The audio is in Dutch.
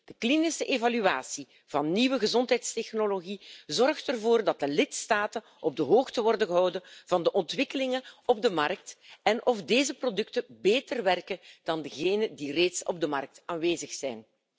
De klinische evaluatie van nieuwe gezondheidstechnologie zorgt ervoor dat de lidstaten op de hoogte worden gehouden van de ontwikkelingen op de markt en vernemen of deze producten beter werken dan degene die reeds op de markt aanwezig zijn.